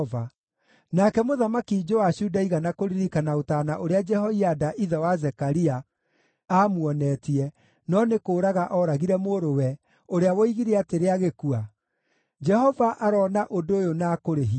Nake Mũthamaki Joashu ndaigana kũririkana ũtaana ũrĩa Jehoiada, ithe wa Zekaria, aamuonetie no nĩ kũũraga ooragire mũrũwe, ũrĩa woigire atĩrĩ agĩkua, “Jehova aroona ũndũ ũyũ na akũrĩhie.”